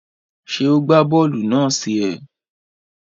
Ṣe o gba bóòlù náà sí é?